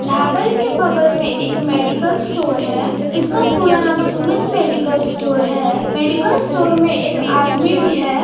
ढाबल के बगल में एक मेडिकल स्टोर है। इसका पूरा नाम सुमित मेडिकल स्टोर है मेडिकल स्टोर में एक आदमी भी है।